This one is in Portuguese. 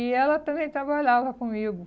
E ela também trabalhava comigo.